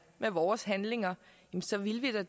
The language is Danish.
med vores handlinger så ville vi da